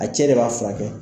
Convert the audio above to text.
A cɛ de b'a furakɛ .